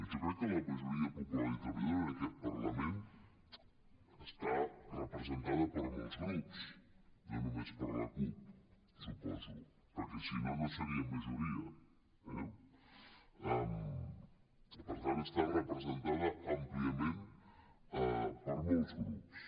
jo crec que la majoria popular i treballadora en aquest parlament està representada per molts grups no només per la cup suposo perquè si no seria majoria eh per tant està representada àmpliament per molts grups